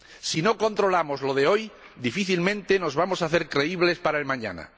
Si no controlamos lo de hoy, difícilmente nos vamos a hacer creíbles para el mañana.